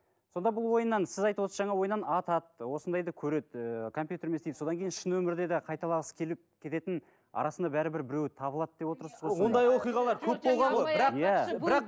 сонда бұл ойыннан сіз айтып отырсыз жаңа ойыннан атады осындайды көреді ііі компьютермен істейді содан кейін шын өмірде де қайталағысы келіп кететін арасында бәрібір біреуі табылады деп отырсыз ғой сонда